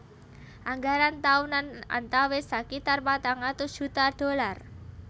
Anggaran taunan antawis sakitar patang atus juta dolar